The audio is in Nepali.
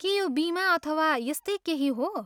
के यो बिमा अथवा यस्तै केही हो?